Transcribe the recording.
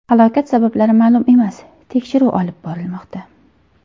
Halokat sabablari ma’lum emas, tekshiruv olib borilmoqda.